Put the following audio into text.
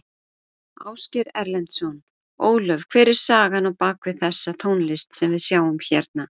Ásgeir Erlendsson: Ólöf hver er sagan á bak við þessa tónlist sem við sjáum hérna?